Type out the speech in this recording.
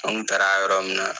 Anw taara a yɔrɔ min